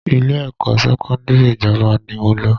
Ilé-ẹ̀kọ́ sẹ́kọ́ndírì ìjọba ni mo lọ